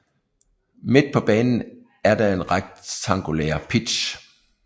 Midt på banen er der en rektangulær pitch